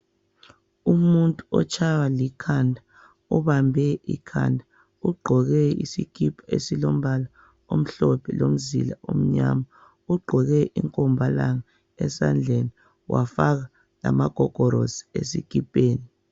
Umuntu otshaywa likhanda ubambe ikhanda. Ugqoke isikipa esilombala omhlophe lomzila omnyama. Ugqoke inkombalanga esandleni wafaka lamagogorosi esikipeni.